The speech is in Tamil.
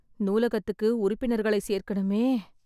நூலகத்துக்கு உறுப்பினர்களை சேர்க்கணுமே...